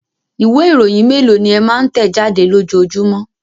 Ìwé-ìròyìn mélòó ni ẹ máa ń tẹ̀ jáde lójoojúmọ́?